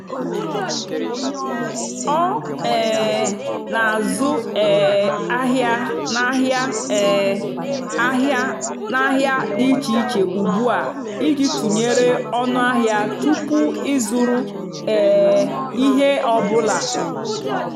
ọ́ um nà-àzụ́ um àhịá n'àhịá um àhịá n'àhịá dì íché íché ùgbúà ìjì tụ́nyeré ónú àhịá túpú ị́zụ́rụ́ um íhé ọ́ bụ́là.